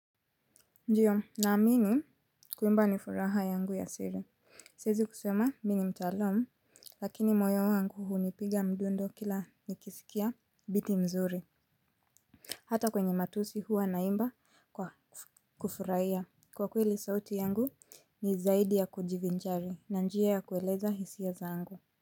Ndio naamini kuimba ni furaha yangu ya siri, siezi kusema mi ni mtaalam lakini moyo wangu hunipiga mdundo kila nikisikia beating nzuri. Hata kwenye matusi huwa naimba kwa kufurahia kwa kweli sauti yangu ni zaidi ya kujivinjari na njia ya kueleza hisia zangu. Kwa hivyo.